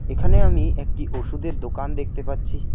এখানে আমি একটি ওষুধের দোকান দেখতে পাচ্ছি।